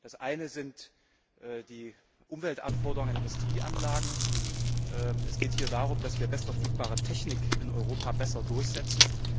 Das eine sind die Umweltanforderungen in Industrieanlagen. Es geht hier darum, dass wir bestverfügbare Technik in Europa besser durchsetzen.